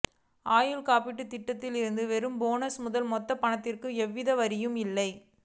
ஆயுள் காப்பீடு திட்டத்தில் இருந்து பெறும் போனஸ் முதல் மொத்த பணத்திற்கும் எவ்வித வரியும் இல்லை